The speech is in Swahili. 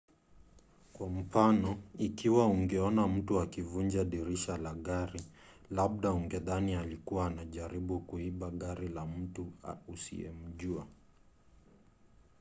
kwa mfano ikiwa ungeona mtu akivunja dirisha la gari labda ungedhani alikuwa anajaribu kuiba gari la mtu usiyemjua